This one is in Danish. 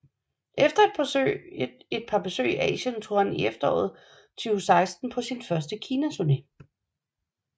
Efter et par besøg i Asien tog han i efteråret 2016 på sin første Kinaturné